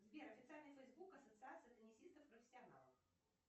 сбер официальный фейсбук ассоциации теннисистов профессионалов